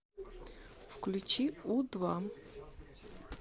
включи у два